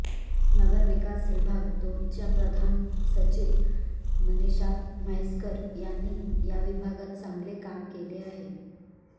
नगरविकास विभाग दोनच्या प्रधान सचिव मनीषा म्हैसकर यांनी या विभागात चांगले काम केले आहे